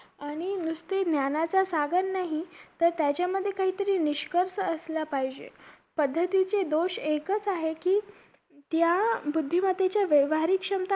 आणि नुसते ज्ञानाचा सागर नाही तर त्याच्यामध्ये काही तरी निष्कर्ष असला पाहीजे पद्धतीची दोष एकच आहे कि त्या बुद्धिमत्तेच्या व्यावहारिक क्षमता